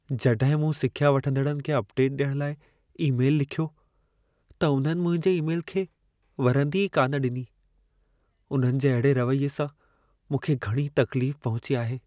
जॾहिं मूं सिख्या वठंदड़नि खे अपडेट ॾियण लाइ ईमेल लिखियो, त उन्हनि मुंहिंजे ईमेल खे वरंदी ई कान डि॒नी। उन्हनि जे अहिड़े रवैये सां मूंखे घणी तकलीफ़ पहुची आहे।